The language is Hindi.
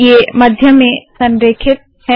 अब ये मध्य में संरेखित है